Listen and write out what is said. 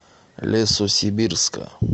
лесосибирска